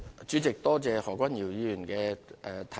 主席，多謝何君堯議員的補充質詢。